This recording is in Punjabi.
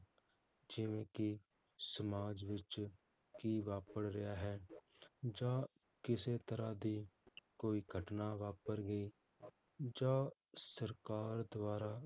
ਜਿਵੇ ਕਿ ਸਮਾਜ ਵਿਚ ਕੀ ਵਾਪਰ ਰਿਹਾ ਹੈ, ਜਾਂ ਕਿਸੇ ਤਰਾਹ ਦੀ ਕੋਈ ਘਟਨਾ ਵਾਪਰ ਗਈ, ਜਾਂ, ਸਰਕਾਰ ਦਵਾਰਾ